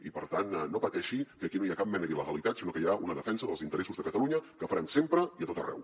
i per tant no pateixi que aquí no hi ha cap mena d’il·legalitat sinó que hi ha una defensa dels interessos de catalunya que farem sempre i a tot arreu